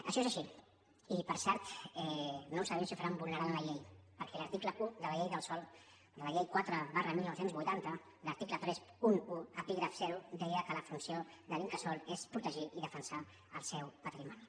això és així i per cert no sabem si ho faran vulnerant la llei perquè l’article un de la llei del sòl de la llei quatre dinou vuitanta l’article trenta un epígraf zero deia que la funció de l’incasòl és protegir i defensar el seu patrimoni